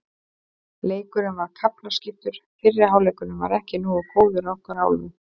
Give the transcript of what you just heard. Leikurinn var kaflaskiptur, fyrri hálfleikurinn var ekki nógu góður að okkar hálfu.